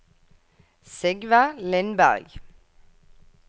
Sigve Lindberg